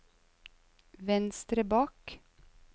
venstre bak